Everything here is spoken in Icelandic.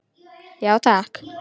Já, takk.